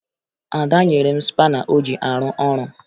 Ada nyere m spana o ji arụ ọrụ